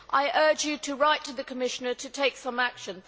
I urge you to write to the Commissioner to take some action.